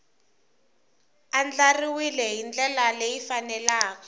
andlariwile hi ndlela leyi faneleke